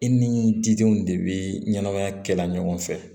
I ni didenw de bɛ ɲɛnamaya kɛ la ɲɔgɔn fɛ